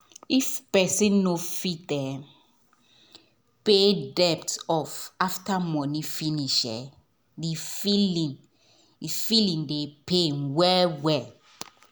if person not fit pay debt off after money finish e feeling dey pain feeling dey pain well well